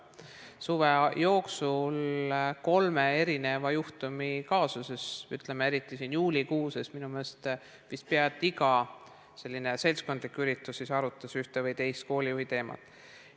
Suve jooksul oli kolm juhtumit ehk kaasust, eriti juulikuus, kui minu meelest peaaegu et igal seltskondlikul üritusel arutati ühte või teist koolijuhiteemat.